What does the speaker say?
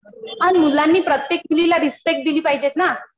पण मुलांनी प्रत्येक मुलीला रिस्पेक्ट दिली पाहिजेत ना.